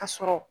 Ka sɔrɔ